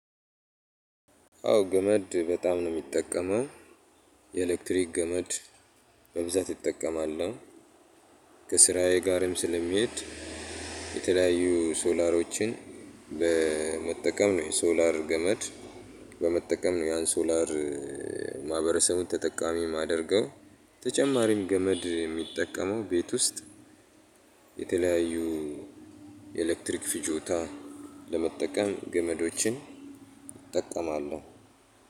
አዎ ገመድ በጣም ነው የሚጠቀመው የኤሌክትሪክ ገመድ በብዛት እጠቀማለው። ከስራዬ ጋርም ስለሚሄድ። የተለያዩ ሶላሮችን በመጠቀም ነው የሶላር ገመድ በመጠቀም ነው። ያን ሶላር ማህበረሰቡን ተጠቃሚ የማደርገው። ተጨማሪም ገመድ የሚጠቀመው ቤት ውስጥ የተለያዩ የኤሌክትሪክ ፍጆታ ለመጠቀም ገመዶችን እጠቀማለሁ።